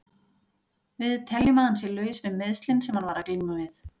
Við teljum að hann sé laus við meiðslin sem hann var að glíma við.